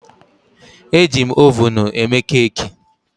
Ejim ovunụ eme keeki